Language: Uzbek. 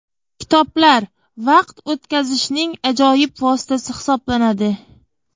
Kitoblar – vaqt o‘tkazishning ajoyib vositasi hisoblanadi.